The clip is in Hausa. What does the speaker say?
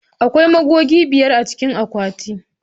Akwai goga biyar a cikin akwati.